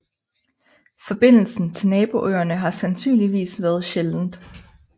Forbindelsen til naboøerne har sandsynligvis været sjældent